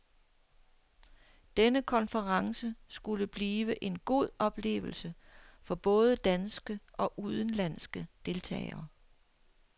Denne konference skulle blive en god oplevelse for både danske og udenlandske deltagere.